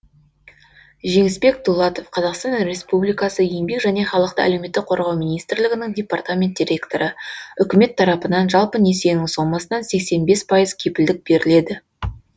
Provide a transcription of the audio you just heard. жеңісбек дулатов қазақстан республикасы еңбек және халықты әлеуметтік қорғау министрлігінің департамент директоры үкімет тарапынан жалпы несиенің сомасынан сексен бес пайыз кепілдік беріледі